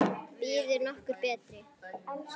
Býður nokkur betur?